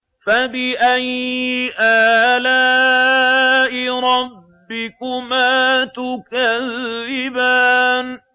فَبِأَيِّ آلَاءِ رَبِّكُمَا تُكَذِّبَانِ